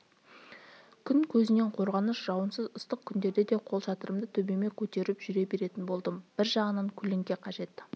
күн көзінен қорғаныш жауынсыз ыстық күндерде де қолшатырымды төбеме көтеріп жүре беретін болдым бір жағынан көлеңке қажеті